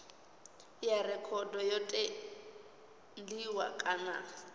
ya rekhodo yo tendiwa kana